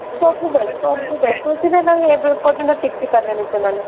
ସବୁ ବେଳେ ସବୁ ବେଳେ ଏବେ ପର୍ଯ୍ୟନ୍ତ ଟିକି ପାରିଲାନି ସେମାନେ